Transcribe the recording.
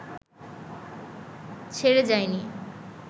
ছেড়ে যায়নি